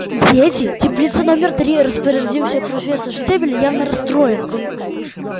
дети теплица номер три распорядился профессор стебль явно расстроенная